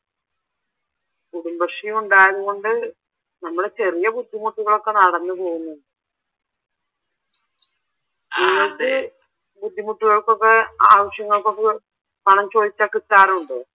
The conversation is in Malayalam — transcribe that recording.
കുടുംബശ്രീ ഉണ്ടായതുകൊണ്ട് നമ്മടെ ചെറിയ ബുദ്ധിമുട്ടുകൾ ഒക്കെ നടന്നുപോകുന്നു ബുദ്ധിമുട്ടുകൾക്കൊക്കെ ആവിശ്യങ്ങൾക്കൊക്കെ പണം ചോദിച്ചാൽ കിട്ടാറുണ്ടോ?